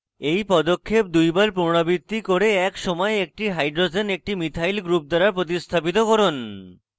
এই পদক্ষেপ দুইবার পুনরাবৃত্তি করে এক সময়ে একটি hydrogen একটি মিথাইল group দ্বারা প্রতিস্থাপিত করুন